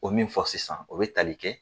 O min fɔ sisan o bɛ tali kɛ